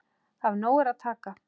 Af nógu er að taka.